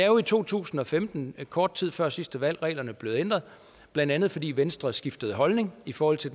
jo i to tusind og femten kort tid før sidste valg reglerne blev ændret blandt andet fordi venstre skiftede holdning i forhold til